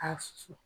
A susu